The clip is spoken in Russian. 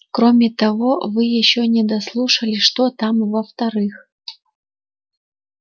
кроме того вы ещё не дослушали что там во-вторых